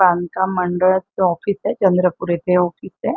बांधकाम मंडळाच office A. Chandrapur येथे ऑफिस ए.